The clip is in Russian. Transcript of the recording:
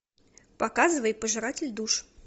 показывай пожиратель душ